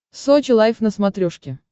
сочи лайв на смотрешке